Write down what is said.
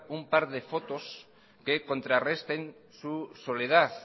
un par de fotos que contrarresten su soledad